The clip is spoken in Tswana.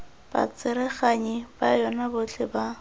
batsereganyi ba yona botlhe ba